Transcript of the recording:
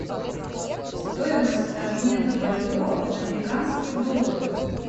стоимость обмена бальбоа на американские доллары